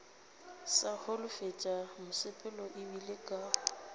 sa holofetše mosepelo ebile ke